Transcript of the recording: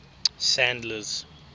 sandler's